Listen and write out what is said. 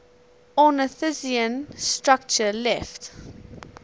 ornithischian structure left